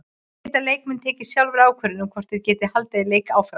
Geta leikmenn tekið sjálfir ákvörðun um hvort þeir geti haldið leik áfram?